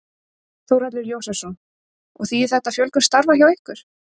Þórhallur Jósefsson: Og þýðir þetta fjölgun starfa hjá ykkur?